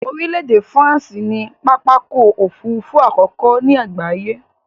Orílẹ̀ èdè France ni pápákọ̀ òfurufú àkọ́kọ́ ni àgbáyé